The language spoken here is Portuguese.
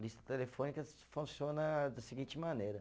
Lista telefônica funciona da seguinte maneira.